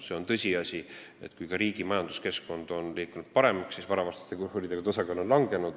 On tõsiasi, et kui riigi majanduskeskkond muutub paremaks, siis varavastaste kuritegude osakaal langeb.